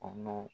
Kɔnɔn